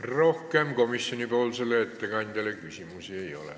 Rohkem komisjoni ettekandjale küsimusi ei ole.